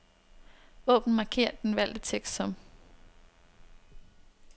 Åbn markér den valgte tekst som.